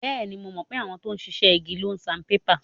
Bẹ́ẹ̀ni, mo mọ̀ pé àwọn tó ń ṣiṣẹ́ igi ń lo saanpépà.